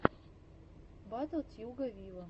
батл тьюга виво